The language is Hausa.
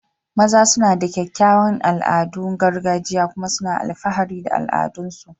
maza suna da kyawawan al'adun gargajiya kuma suna alfahari da al'adunsu